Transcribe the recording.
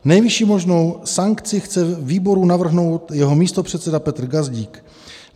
Nejvyšší možnou sankci chce výboru navrhnout jeho místopředseda Petr Gazdík.